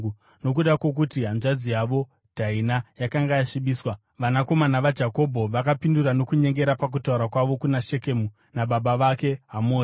Nokuda kwokuti hanzvadzi yavo Dhaina yakanga yasvibiswa vanakomana vaJakobho vakapindura nokunyengera pakutaura kwavo kuna Shekemu nababa vake Hamori.